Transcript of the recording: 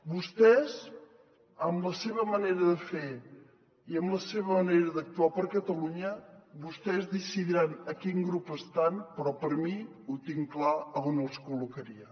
vostès amb la seva manera de fer i amb la seva manera d’actuar per catalunya decidiran a quin grup estan però jo tinc clar on els col·locaria